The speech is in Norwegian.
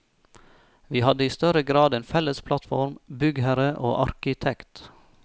Vi hadde i større grad en felles plattform, byggherre og arkitekt.